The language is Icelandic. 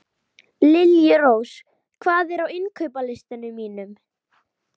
Liljurós, hvað er á innkaupalistanum mínum?